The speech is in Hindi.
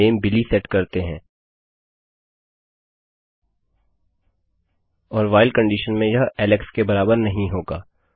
नाम बिली सेट करते है और व्हाइल कंडीशन में यह एलेक्स के बराबर नहीं होगा